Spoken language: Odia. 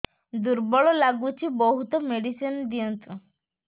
ଦୁର୍ବଳ ଲାଗୁଚି ବହୁତ ମେଡିସିନ ଦିଅନ୍ତୁ